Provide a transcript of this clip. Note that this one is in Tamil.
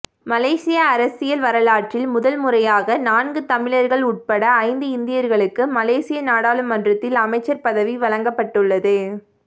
மலேசிய அரசியல் வரலாற்றில் முதன்முறையாக நான்கு தமிழர்கள் உள்பட ஐந்து இந்தியர்களுக்கு மலேசிய நாடாளுமன்றத்தில் அமைச்சர் பதவி வழங்கப்பட்டுள்ளது